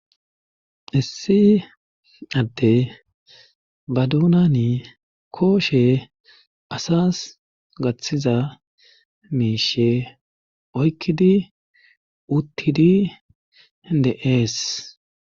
issi atte ba duuna ni kooshe asas gaththiza miishe oykkidi uttidi de7ees